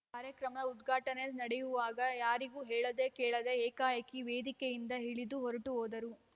ಕಾರ್ಯಕ್ರಮ ಉದ್ಘಾಟನೆ ನಡೆಯುವಾಗ ಯಾರಿಗೂ ಹೇಳದೆ ಕೇಳದೆ ಏಕಾಏಕಿ ವೇದಿಕೆಯಿಂದ ಇಳಿದು ಹೊರಟುಹೋದರು